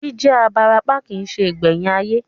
Jí jẹ́ abarapá kìí se ìgbẹ̀yìn ayé